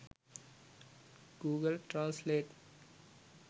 google translate